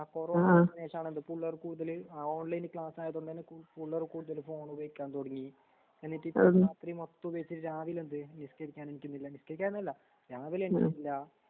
ആ കൊറോണവന്നശേഷാണല്ലോ പുള്ളേറ് കൂടുതല് ഓൺലൈൻക്ലാസ്സായതുകൊണ്ട്തന്നെ പുള്ളേറ്കൂടുതല് ഫോണുപയോകിക്കാൻതുടങ്ങീ എന്നിട്ടീരാത്രിമൊത്തപയോഗിച്ചിട്ട് രാവിലെന്ത് മിറ്റടിക്കാനെണീക്കുന്നില്ല നിസ്‌ക്കരിക്കാനല്ല രാവിലെണ്ണീറ്റിട്ടില്ലാ